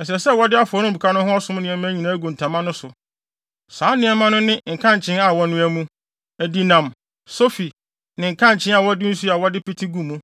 Ɛsɛ sɛ wɔde afɔremuka no ho ɔsom nneɛma nyinaa gu ntama no so. Saa nneɛma no ne nkankyee a wɔnoa mu, adinam, sofi, ne nkankyee a wɔde nsu a wɔde pete gu mu.